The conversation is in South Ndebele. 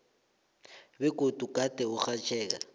begodu gade urhatjheka